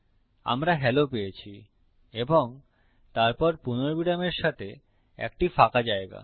আমরা হেলো পেয়েছি এবং তারপর পুর্ণবিরামের সাথে একটি ফাঁকা জায়গা